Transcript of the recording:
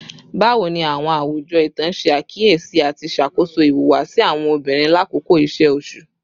Bawo ni awọn awujọ itan ṣe akiyesi ati ṣakoso ihuwasi awọn obinrin lakoko iṣe oṣu?